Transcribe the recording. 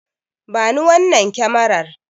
Bani wannan kyamarar.